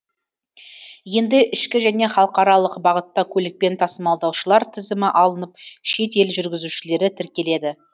енді ішкі және халықаралық бағытта көлікпен тасымалдаушылар тізімі алынып шет ел жүргізушілері тіркеледі